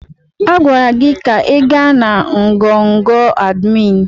A gwara gị ka ị gaa na ngọngọ̀ admin!